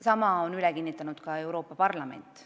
Sama on üle kinnitanud ka Euroopa Parlament.